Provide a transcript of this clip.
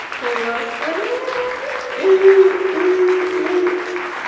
класс валера